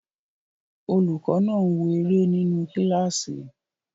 Olùkọ́ náà ń wo eré nínu kílásì